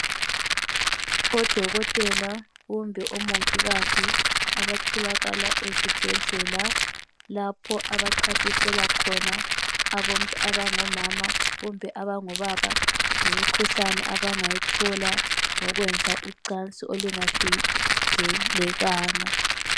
Odokotela kumbe omongikazi abatholakala ezibhedlela lapho abachasiselwa khona abantu abango mama kumbe abango baba ngemikhuhlane abangayithola ngokwenza ucansi olungavikelekanga.